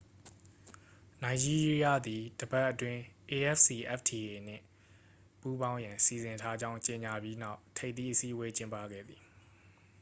နိုင်ဂျီးရီးယားသည် တစ်ပတ်အတွင်း afcfta နှင့် ပူးပေါင်းရန် စီစဉ်ထားကြောင်း ကြေညာပြီးနောက် ထိပ်သီးအစည်းအဝေး ကျင်းပခဲ့သည်